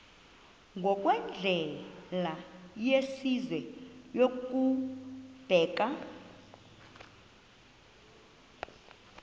ngokwendlela yesizwe yokubeka